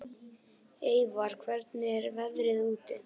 Eyvar, hvernig er veðrið úti?